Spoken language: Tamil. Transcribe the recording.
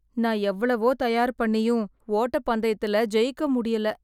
நான் எவ்வளவோ தயார் பண்ணியும் ஓட்டப்பந்தயத்தில ஜெயிக்க முடியல